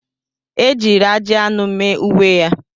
Ejiri ajị anụ mee uwe ya.